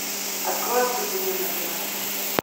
открой открытый мир на тв